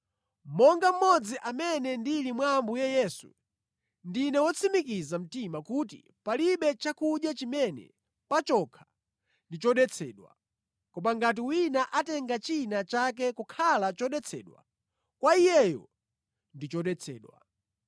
Monga mmodzi amene ndili mwa Ambuye Yesu, ndine wotsimikiza mtima kuti palibe chakudya chimene pachokha ndi chodetsedwa. Koma ngati wina atenga china chake kukhala chodetsedwa, kwa iyeyo ndi chodetsedwa.